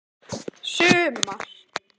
sumar